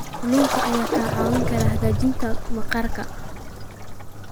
Kalluunka ayaa kaa caawin kara hagaajinta maqaarka.